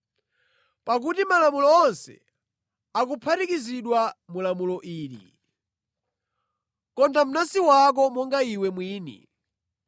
Pakuti malamulo onse akuphatikizidwa mu lamulo ili, “Konda mnansi wako monga iwe mwini.”